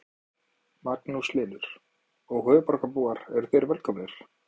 Magnús Hlynur: Og höfuðborgarbúar eru þeir velkomnir?